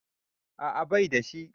A'a baida shi